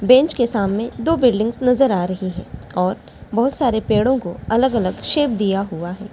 Bench के सामने दो बिल्डिंग नजर आ रहे हैं और बहुत सारे पेड़ों को शेप दिया हुआ है।